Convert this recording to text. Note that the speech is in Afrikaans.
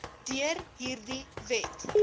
deur hierdie wet